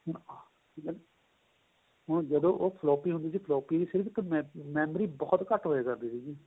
ਹੁਣ ਜਦੋਂ ਉਹ floppy ਹੁੰਦੀ ਸੀ floppy ਸਿਰਫ਼ ਇੱਕ memory ਬਹੁਤ ਘੱਟ ਹੋਇਆ ਕਰਦੀ ਸੀ